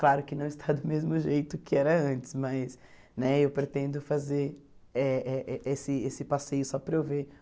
Claro que não está do mesmo jeito que era antes, mas né eu pretendo fazer eh esse esse passeio só para eu ver